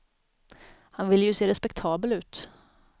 Han ville ju se respektabel ut.